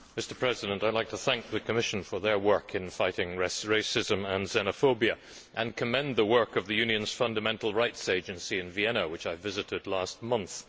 Mr President, I would like to thank the Commission for its work in fighting racism and xenophobia and to commend the work of the European Union's Fundamental Rights Agency in Vienna, which I visited last month.